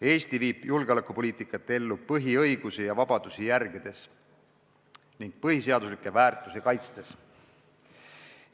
Eesti viib julgeolekupoliitikat ellu põhiõigusi ja -vabadusi järgides ning põhiseaduslikke väärtusi kaitstes.